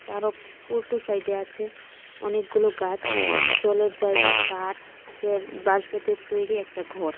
তারও উল্টো সাইডে আছে অনেকগুলো গাছ জলের জায়গা কাঠ পের বাঁশ বেতের তৈরি একটা ঘর.